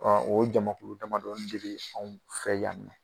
o jamakulu damadɔni de be anw fɛ yan nɔ.